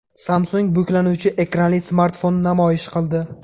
Samsung buklanuvchi ekranli smartfonni namoyish qildi.